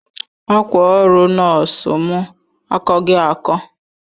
Akwa oru nosu mu akogi ako